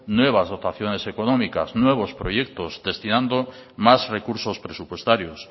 nuevas ocasiones económicas nuevos proyectos destinando más recursos presupuestarios